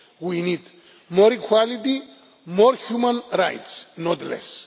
We need more equality and more human rights, not less.